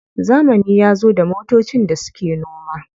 Zamani yazo da motocin da suke noma.